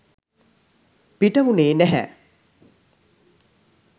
පිට වුණේ නැහැ.